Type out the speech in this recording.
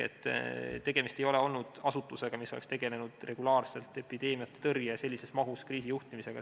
Tegemist ei ole olnud asutusega, mis oleks tegelenud regulaarselt epideemiatõrje ja sellises mahus kriisijuhtimisega.